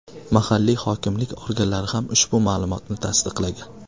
Mahalliy hokimlik organlari ham ushbu ma’lumotni tasdiqlagan.